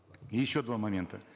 и еще два момента